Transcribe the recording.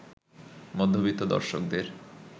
মধ্যবিত্ত দর্শকদের